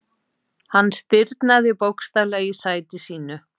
Hann stirðnaði bókstaflega í sæti sínu.